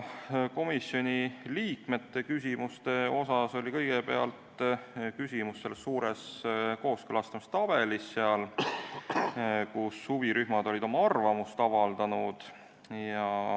Komisjoni liikmetel oli kõigepealt küsimus selle suure kooskõlastamistabeli kohta, kus oli kirjas, kuidas huvirühmad olid oma arvamust avaldanud.